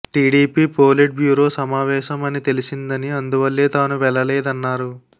TDP politburo సమావేశం అని తెలిసిందని అందువల్లే తాను వెళ్లలేదన్నారు